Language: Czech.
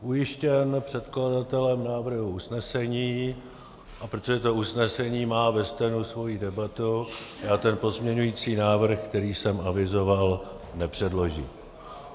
Ujištěn předkladatelem návrhu usnesení, a protože to usnesení má ve stenu svoji debatu, já ten pozměňovací návrh, který jsem avizoval, nepředložím.